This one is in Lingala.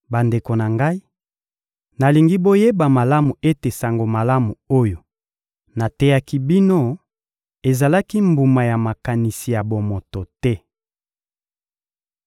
Bandeko na ngai, nalingi boyeba malamu ete Sango Malamu oyo nateyaki bino ezalaki mbuma ya makanisi ya bomoto te.